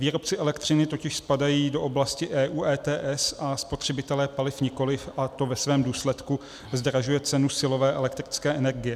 Výrobci elektřiny totiž spadají do oblasti EU ETS a spotřebitelé paliv nikoliv, a to ve svém důsledku zdražuje cenu silové elektrické energie.